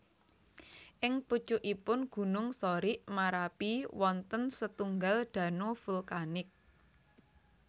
Ing pucukipun gunung Sorik Marapi wonten setunggal dano vulkanik